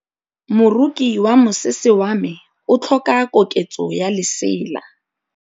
Moroki wa mosese wa me o tlhoka koketsô ya lesela.